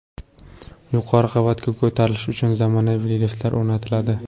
Yuqori qavatga ko‘tarilish uchun zamonaviy liftlar o‘rnatiladi.